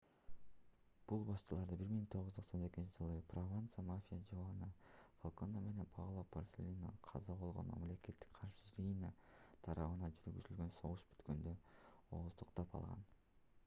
бул башчыларды 1992-жылы прованцано мафия жованни фалконе менен паоло борселлино каза болгон мамлекетке каршы рийна тарабынан жүргүзүлгөн согуш бүткөндө ооздуктап алган